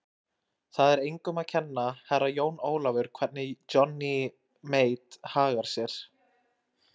Það er engum að kenna, Herra Jón Ólafur, hvernig Johnny Mate hagar sér.